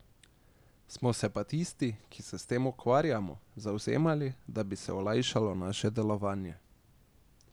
Smo se pa tisti, ki se s tem ukvarjamo, zavzemali, da bi se olajšalo naše delovanje.